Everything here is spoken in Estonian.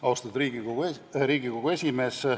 Austatud Riigikogu esimees!